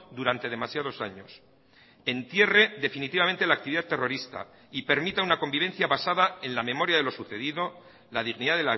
durante demasiados años entierre definitivamente la actividad terrorista y permita una convivencia basada en la memoria de lo sucedido la dignidad